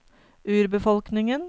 urbefolkningen